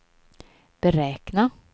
beräkna